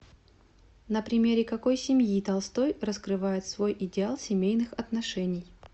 на примере какой семьи толстой раскрывает свой идеал семейных отношений